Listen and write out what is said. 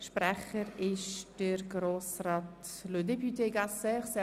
Das Wort hat Herr Gasser als Kommissionssprecher.